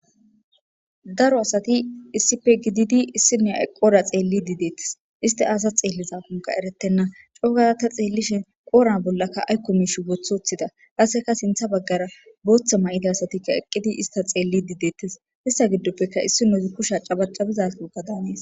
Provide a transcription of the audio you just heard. Daro asati issipe gididi issi nua yqqora xeelli diidettes isti aasa xeelliza kunka eretenna coo gada ta xeellishin qoora bollakka aykko mish boothothida kaseka sintha baggara booththa may7ida asatikka eqqidi ista xeelli diidettes issa giddoppeka issi noozi kusha cabacabizaoga daanees.